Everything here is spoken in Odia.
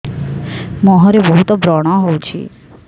ମୁଁହରେ ବହୁତ ବ୍ରଣ ହଉଛି